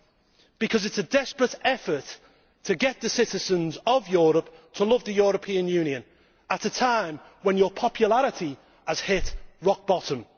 This is a desperate effort to get the citizens of Europe to love the European Union at a time when its popularity has hit rock bottom.